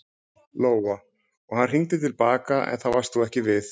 Lóa: Og hann hringdi til baka en þá varst þú ekki við?